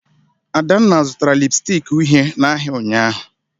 Adanna zụtara lịpstịk uhie n'ahịa ụnyahụ